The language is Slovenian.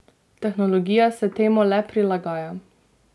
Tehnologija se temu le prilagaja.